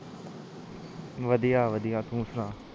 ਵਧੀਆ ਵਧੀਆ ਤੂੰ ਸੁਣਾ